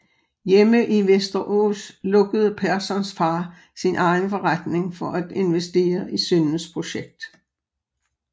Hjemme i Västerås lukkede Perssons far sin egen forretning for at investere i sønnens projekt